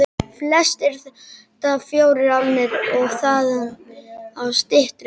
Flestir þetta fjórar álnir og þaðan af styttri.